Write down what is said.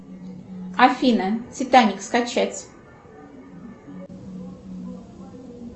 афина титаник скачать